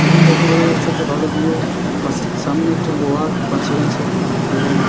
এখানে থেকে বোঝা যাচ্ছে একটা ভালো ভিউ পাশে সামনে একটি লোহার পাঁচিল আছে এবং--